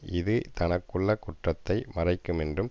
இது தனக்குள்ள குற்றத்தை மறைக்கு மென்றும்